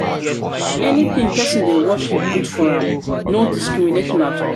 anything pesin dey worship good for am no discrimination at all.